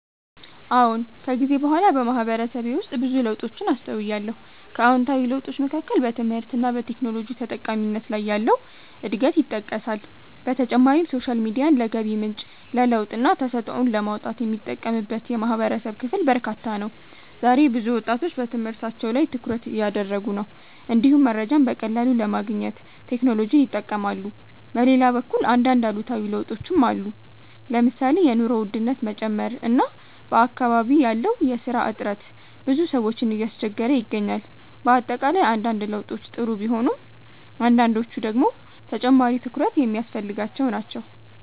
አዎን። ከጊዜ በኋላ በማህበረሰቤ ውስጥ ብዙ ለውጦችን አስተውያለሁ። ከአዎንታዊ ለውጦች መካከል በትምህርት እና በቴክኖሎጂ ተጠቃሚነት ላይ ያለው እድገት ይጠቀሳል። በተጨማሪም ሶሻል ሚዲያን ለገቢ ምንጭ፣ ለለውጥና ተሰጥኦን ለማውጣት የሚጠቀምበት የማህበረሰብ ክፍል በርካታ ነው። ዛሬ ብዙ ወጣቶች በትምህርታቸው ላይ ትኩረት እያደረጉ ነው፣ እንዲሁም መረጃን በቀላሉ ለማግኘት ቴክኖሎጂን ይጠቀማሉ። በሌላ በኩል አንዳንድ አሉታዊ ለውጦችም አሉ። ለምሳሌ የኑሮ ውድነት መጨመር እና በአካባቢ ያለው የስራ እጥረት ብዙ ሰዎችን እያስቸገረ ይገኛል። በአጠቃላይ አንዳንድ ለውጦች ጥሩ ቢሆኑም አንዳንዶቹ ደግሞ ተጨማሪ ትኩረት የሚያስፈልጋቸው ናቸው።